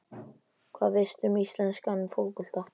Hvað veistu um íslenskan fótbolta?